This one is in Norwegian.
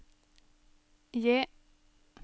J